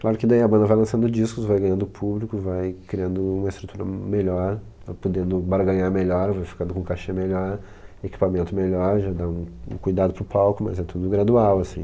Claro que daí a banda vai lançando discos, vai ganhando público, vai criando uma estrutura melhor, vai podendo barganhar melhor, vai ficando com cachê melhor, equipamento melhor, já dá um cuidado para o palco, mas é tudo gradual, assim.